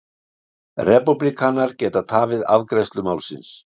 Repúblikanar geta tafið afgreiðslu málsins